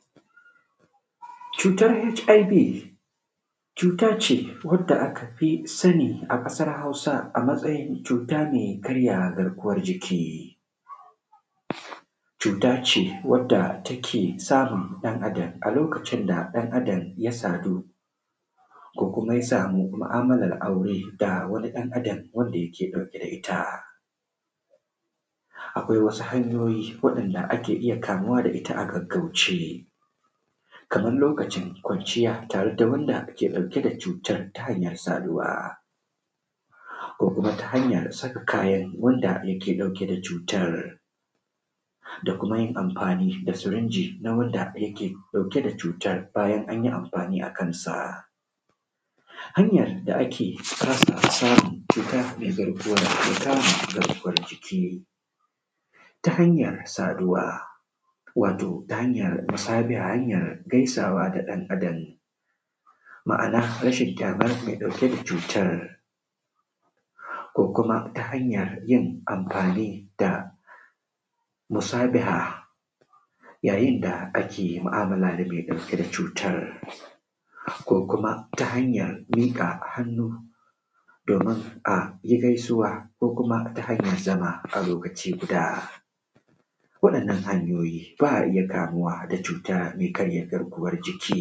Cutar HIV cuta ce wanda aka fi sani a ƙasar Hausa da cuta mai karya garkuwar jiki, cuta ce wanda take samun ɗan Adam a lokacin da ya sadu ko kuma ya sama mu'alar aure ga wanda yake ɗauke da ita. Akwai wasu hanyoyi da ake iya kamuwa da ita a gaggauce kamar lokacin kwanciya tare da wanda yake ɗauke da cutar Ta hanyar saduwa ko kuma ta hanyar saka kayan wanda ke da cutar da kuma yin amfani da sirinji wanda yake da cutar bayan an yi amfani a kansa. Hanyar ake sake samun cutar mai karya garkuwar jiki ta hanyar saduwa wato ta hanyar musabaha ta hanyar gaisawa da ɗan Adam ma'ana ta rashin ganin ƙyamar mai cutar ko kuma ta hanyar yin amfani da musabiha yayin da ake mu'amala da mai cutar ko kuma ta hanyar miƙa hannu domin a yi gaisuwa ko kuma ta hanyar zama a lokaci guda waɗannan hanyoyi ba a iya kamuwa da cutar mai karya garkuwar jiki.